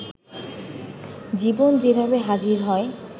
জীবন যেভাবে হাজির হয়